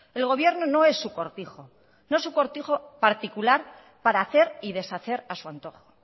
el gobierno no es su cortijo no es su cortijo particular para hacer y deshacer a su antojo